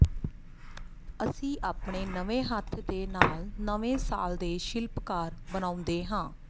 ਅਸੀਂ ਆਪਣੇ ਨਵੇਂ ਹੱਥ ਦੇ ਨਾਲ ਨਵੇਂ ਸਾਲ ਦੇ ਸ਼ਿਲਪਕਾਰ ਬਣਾਉਂਦੇ ਹਾਂ